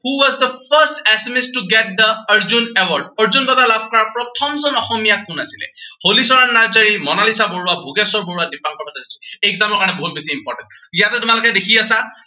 who was the first Assamese to get the Arjun award Arjun বঁটা লাভ কৰা প্ৰথমজন অসমীয়া কোন আছিলে? হলিচৰণ নাৰ্জাৰী, মনালিছা বৰুৱা, ভোগেশ্বৰ বৰুৱা, দিপাংকৰ ভট্টাচাৰ্যী। exam ৰ কাৰণে বহুত বেছি important ইয়াতে তোমালোকে দেখি আছা